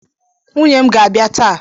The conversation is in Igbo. Nwunye m ga-abịa taa.